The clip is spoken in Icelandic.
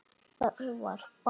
Það var barn.